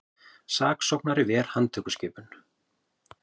Saksóknari ver handtökuskipun